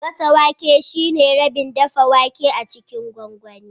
Gasa wake shine rabin dafa wake a cikin gwangwani